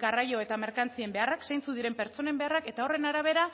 garraio eta merkantzien beharrak zeintzuk diren pertsonen beharrak eta horren arabera